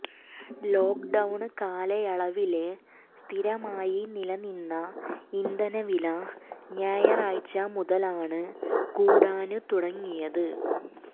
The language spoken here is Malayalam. ലോക്ഡൌണ് കാലായളവില് സ്ഥിരമായി നിലനിന്ന ഇന്ധനവില ഞായറാഴ്ച മുതലാണ് കൂടാന് തുടങ്ങിയത്